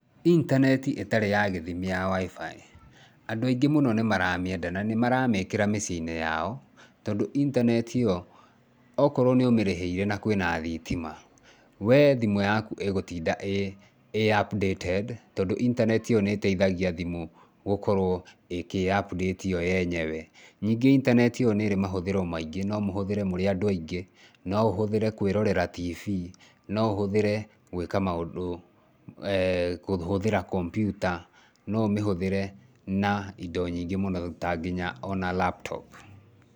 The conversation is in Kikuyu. Intaneti ĩtarĩ na gĩthimi ya WIFI, andũ aingĩ mũno nĩ maramĩenda na nĩ maramĩĩkĩra mĩciĩ-inĩ yao tondũ internet ĩyo, okorwo nĩ ũmĩrĩhĩire na kwĩna thitima, we thimũ yaku ĩgũtinda ĩ updated tondũ internet ĩyo nĩ ĩteithagia thimũ gũkorwo ĩkĩ ĩ update yo yenyewe. Ningĩ internet ĩyo nĩ ĩrĩ mahũthĩro maingĩ, no mũhũthĩre mũrĩ andũ aingĩ, no ũhũthĩre kũĩrorera tibii, no ũhũthĩre gwĩka maũndũ, eh kũhũthĩra kompiuta, no ũmĩhũthĩre na indo nyingĩ mũno ta nginya o na laptop.